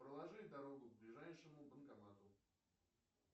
проложи дорогу к ближайшему банкомату